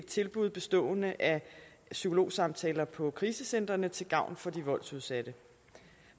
tilbud bestående af psykologsamtaler på krisecentrene til gavn for de voldsudsatte